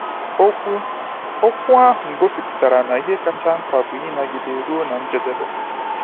Okwu okwu ahụ gosiputara na ihe kacha mkpa bụ ‘ịnagide ruo na njedebe.’